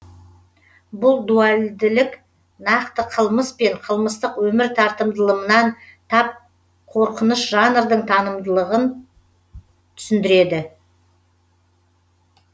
бұл дуальділік нақты қылмыс пен қылмыстық өмір тартымдылымынан тап қорқыныш жанрдың танымдылығын түсіндіреді